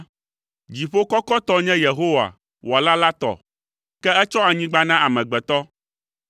Dziƒo kɔkɔtɔ nye Yehowa, Wɔla la tɔ, ke etsɔ anyigba na amegbetɔ.